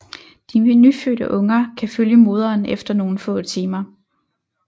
De nyfødte unger kan følge moderen efter nogle få timer